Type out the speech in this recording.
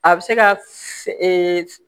A bɛ se ka